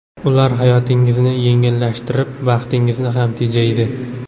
Ular hayotingizni yengillashtirib, vaqtingizni ham tejaydi.